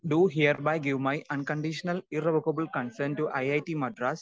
speaker 2 do hereby give my unconditional irrevocable concern to I I T Madras